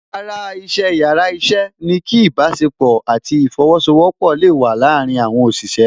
Ara iṣẹ́ yàrá iṣẹ́ ni kí ìbásepọ̀ àti ìfosowọpọ̀ le wa láàrin àwọn òṣìṣẹ́